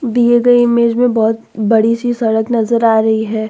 दिए गए इमेज में बहुत बड़ी सी सड़क नज़र आ रही है।